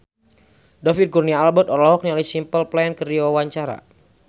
David Kurnia Albert olohok ningali Simple Plan keur diwawancara